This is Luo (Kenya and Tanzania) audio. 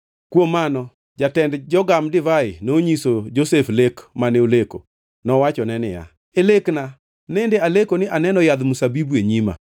Kuom mano jatend jogam Divai nonyiso Josef lek mane oleko. Nowachone niya, “E lekna nende aleko ni aneno yadh mzabibu e nyima,